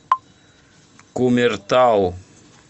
кумертау